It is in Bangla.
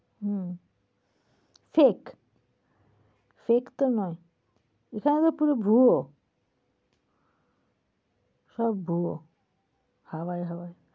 হম ঠিক। fake তো নয়। তাহলে পুরো ভুয়ো। সব ভুয়ো। হাওয়ায় হাওয়ায়।